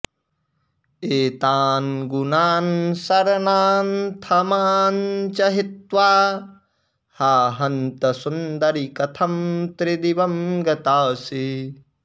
एतान् गुणानशरणानथ मां च हित्वा हा हन्त सुन्दरि कथं त्रिदिवं गताऽसि